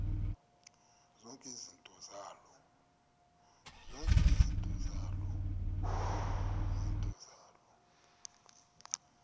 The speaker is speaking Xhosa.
zonke izinto zaloo